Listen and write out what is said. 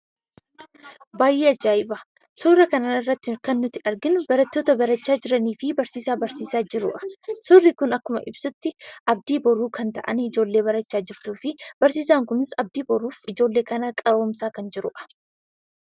Baayyee ajaa'iba! Suuraa kanarratti kan nuti arginu, barattoota barachaa jiraniifi Barsiisaa barsiisaa jiruudha. Suurri kun akkuma ibsutti, abdii boruu kan ta'an, ijoollee barachaa jirtuufi barsiisaan kunis abdii boruuf ijoollee kana qaroomsaa kan jiruudha.